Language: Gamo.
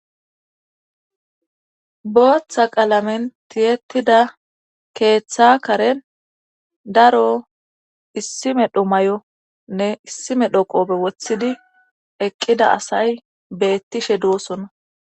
Booththa qalamen tiyetida keeththa karen daro issime dhomay7o nne issime dhoqobe wothidi eqqida asay beettishe duosona